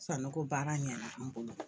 San nɔ ko baara ɲɛna an bolo.